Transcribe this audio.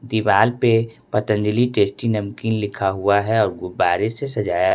दिवाल पे पतंजलि टेस्टी नमकीन लिखा हुआ है और गुब्बारे से सजाया--